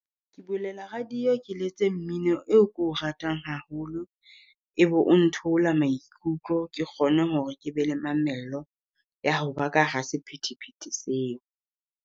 Ke bulela radio ke letse mmino eo ke o ratang haholo, e be o ntheola maikutlo. Ke kgone hore ke be le mamello ya ho ba ka ha sephethephethe seo.